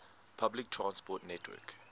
public transport network